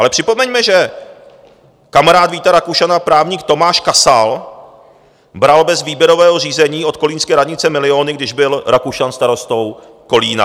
Ale připomeňme, že kamarád Víta Rakušana, právník Tomáš Kasal, bral bez výběrového řízení od kolínské radnice miliony, když byl Rakušan starostou Kolína.